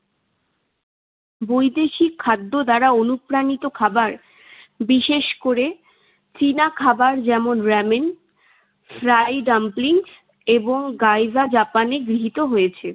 বৈদেশিক খাদ্য দ্বারা অনুপ্রাণিত খাবার বিশেষ করে চীনা খাবার যেমন, র‌্যামেন, ফ্রাই ডাম্পলিং এবং গাইযা জাপানে গৃহীত হয়েছে।